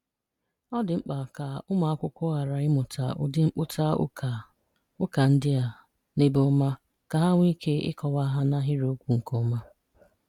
Ọ̀ dị̀ mkpà ka ụmụ̀akwụ̀kwọ̀ gharà ịmụtà ụ̀dị̀ mkpụ̀ta ụ́kà ụ́kà ndị́ a n’ebèọ́ma ka ha nweé ikè ịkọ̀wa ha n’ahịrị́okwù nkéọ́ma